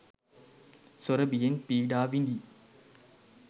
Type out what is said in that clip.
සොර බියෙන් පීඩා විඳීයි.